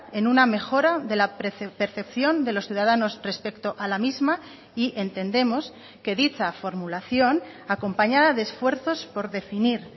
en una mejora de la percepción de los ciudadanos respecto a la misma y entendemos que dicha formulación acompañada de esfuerzos por definir